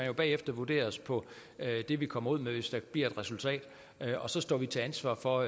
jo bagefter vurderes på det vi kommer ud med hvis der bliver et resultat og så står vi til ansvar for